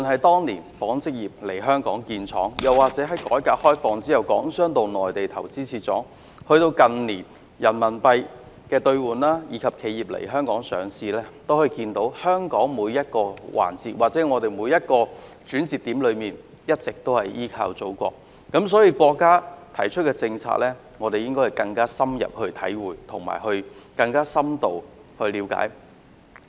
當年紡織業來港設廠，在改革開放後，港商回到內地投資設廠，近年的人民幣兌換業務，以及企業來港上市等，皆反映出香港在每個環節或每個轉折點都一直依靠祖國，所以我們應該更深入體會及了解國家提出的政策。